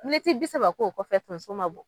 Miniti bi saba k'o kɔfɛ tonso ma bɔ